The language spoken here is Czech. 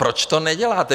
Proč to neděláte?